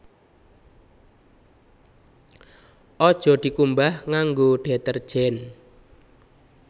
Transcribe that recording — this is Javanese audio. Aja dikumbah nganggo detergen